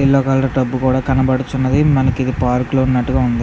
Yellow colour tub కూడా కనపడుచున్నది.మనకు park లో ఉన్నటుగా ఉంది.